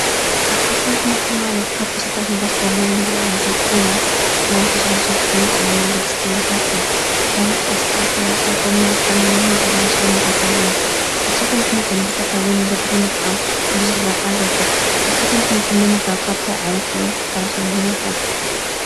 ኣትክልትን ሕምልትን ማለት ካብ ተኽልታት ንረኽቦም ናይ ምግቢ ዓይታት ኮይኖም ሕማም ተኸላኸልቲ ንጥዕናና ኣገድስት ምግብታት እዮም። ከም ቆስጣ ፣ሠላጣ፣ ጕምን፣ ሓምሊ፣ ሙዝ፣ ኣራንሽ ዝመሰሉ እዮም። ኣትክልቲን ሕምልትን ብዝተፍላለይ መንገዲ ብምጥቓም ብዙሕ ረብሓ ንረክብ ኣትክልቲእ አሕምልትን ምምጋብ ካብ ታይ ዓይነት ሕመም ክከላኸለልና ይክእል?